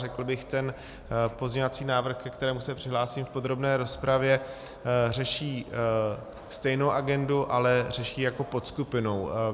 Řekl bych, ten pozměňovací návrh, ke kterému se přihlásím v podrobné rozpravě, řeší stejnou agendu, ale řeší jako podskupinou.